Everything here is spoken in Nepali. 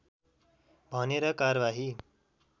भनेर कारवाही